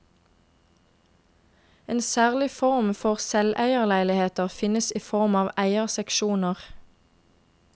En særlig form for selveierleiligheter finnes i form av eierseksjoner.